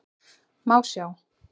Má sjá